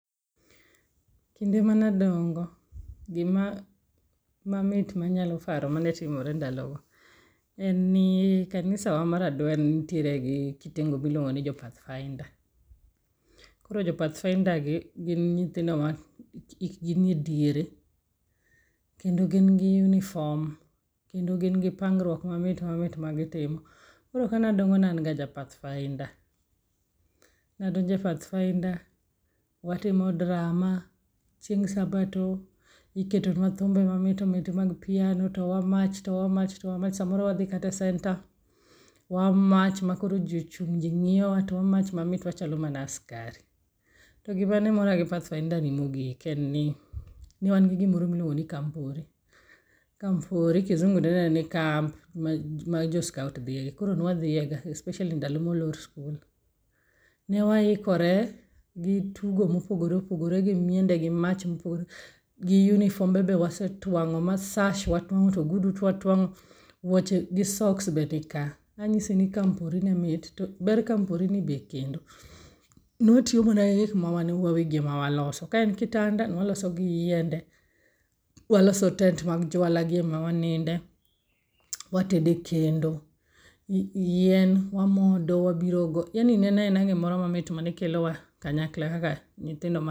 Kinde mane adongo gima mamit manyalo paro mamit mane timore ndalogo en ni kanisawa mar adwen nitiere gi kitengo miluongo ni jo pathfinder. Koro jo pathfinder gi gin nyithindo ma hikgi nie diere. Kendo gin gi uniform kendo gin gi pangruok mamit mamit magitimo. Koro kane adongo ne an ga ja pathfinder. Ne adonjo e pathfinder, watimo drama, chieng' sabato iketo nua thumbe mamito mito mag piano to wamach, to wamach, to wamach samoro wadhi kata centre wamach makoro ji ochung' jing'iyowa to wamach mamit wachalo mana askari. To gima ne mora gi pathfinder ni mogik ne en ni, ne wan gi gimoro miluongo ni kampori, kisungu dende ni camp ma jo scout dhiye ga especially ndalo ma olor sikul. Ne waikore gi tugo ma opogore opogore gi miende gi mach mopogore gi unifombe be wasetuang'o ma shas watuang'o to ogudu to watuang'o wan go to wuoche gi soks be nika. Anyisi ni kampori nyalo miyi ber kamporini be kendo, ne watiyo mana gi gik ma wan wawegi ema waloso. Ka en kitanda ne waloso gi yiende. Waloso tent mar juala gi ema waninde, watedo e kendo. Yien wamodo wabiro go yani ne en aena gimoro mamit maekelowa kanyakla kaka nyithindo ma